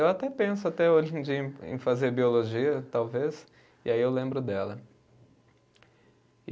Eu até penso até hoje em dia em em fazer biologia, talvez, e aí eu lembro dela. E